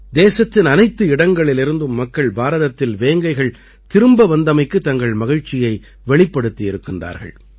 தேசத்தின் அனைத்து இடங்களிலிருந்தும் மக்கள் பாரதத்தில் வேங்கைகள் திரும்ப வந்தமைக்குத் தங்கள் மகிழ்ச்சியை வெளிப்படுத்தியிருக்கின்றார்கள்